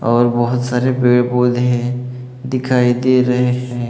और बहोत सारे पेड़ पौधे हैं दिखाई दे रहे हैं।